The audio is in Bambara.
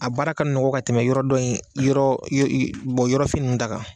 A baara ka nɔgɔ ka tɛmɛ yɔrɔ dɔ in yɔrɔ yɔrɔfin ninnu ta kan.